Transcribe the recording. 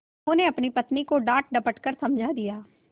उन्होंने अपनी पत्नी को डाँटडपट कर समझा दिया